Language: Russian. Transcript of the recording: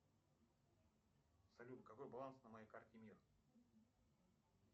салют какой баланс на моей карте мир